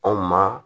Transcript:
Anw maa